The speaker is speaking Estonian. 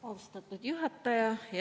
Austatud juhataja!